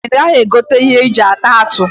Ọ pụtara na ị gaghị egote ihe aji ata atụ?